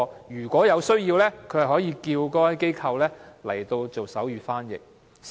如果有需要，它可以請該機構提供手語翻譯。